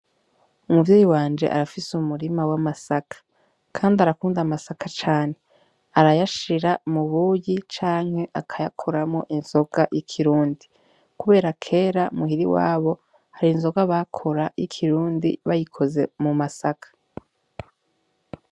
Umuvyeyi wanje arafise umurima w'amasaka kandi arakunda amasaka cane arayashira mu buyi canke akayakoramwo inzoga yi kirundi kubera kera muhira iwabo hari inzoga bakora y'ikirundi bayikoze mu masaka.